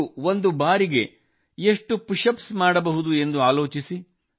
ನೀವು ಒಂದು ಬಾರಿಗೆ ಎಷ್ಟು ಪುಶ್ ಅಪ್ಸ್ ಮಾಡಬಹುದು ಎಂದು ಆಲೋಚಿಸಿ